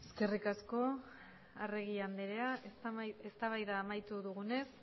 eskerrik asko arregi andrea eztabaida amaitu dugunez